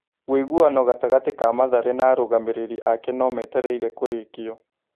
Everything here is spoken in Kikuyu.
Wĩiguano gatagatĩ ka Mathare na arũgamĩrĩri ake no metereire kũrĩkio.